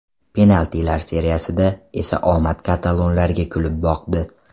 Penaltilar seriyasida esa omad katalonlarga kulib boqdi.